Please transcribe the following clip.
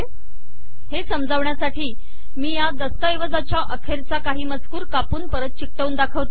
हे समजवण्यासाठी मी या दस्तऐवजाच्या अखेरीचा काही मजकूर कापून परत चिटकवून दाखविते